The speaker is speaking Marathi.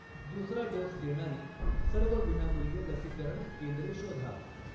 दुसरा डोस देणारी सर्व विनामूल्य लसीकरण केंद्रे शोधा.